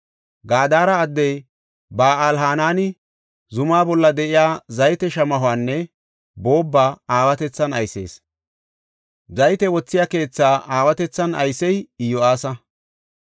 Gadara addey Ba7al-Hanani zuma bolla de7iya zayte shamahuwanne boobba aawatethan aysees. Zayte wothiya keethaa aawatethan aysey Iyo7aasa.